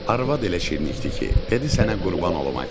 Arvad elə şirinlikdi ki, dedi sənə qurban olum ay kişi.